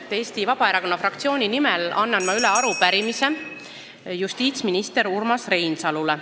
Annan Eesti Vabaerakonna fraktsiooni nimel üle arupärimise justiitsminister Urmas Reinsalule.